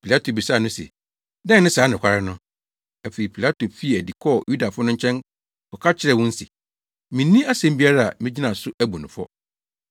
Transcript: Pilato bisaa no se, “Dɛn ne saa nokware no?” Afei Pilato fii adi kɔɔ Yudafo no nkyɛn kɔka kyerɛɛ wɔn se, “Minni asɛm biara a megyina so abu no fɔ.